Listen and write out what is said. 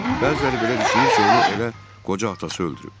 Bəziləri belə düşünür ki, onu elə qoca atası öldürüb.